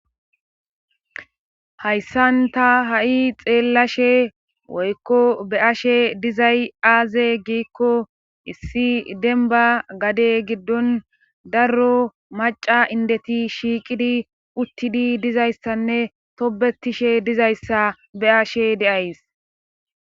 Hayssan ta ha7i xeellashe woykko be ashe dizay aaze giikko issi denba gade giddon darro maca indeti shiiqidi uttidi dizayssanne tobetishe dizayssa be'ashe de'ays.